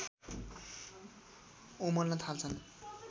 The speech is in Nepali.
उम्लन थाल्छन्